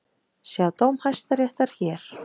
Sjá dóm Hæstaréttar hér